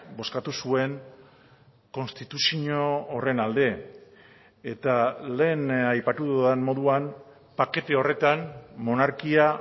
bozkatu zuen konstituzio horren alde eta lehen aipatu dudan moduan pakete horretan monarkia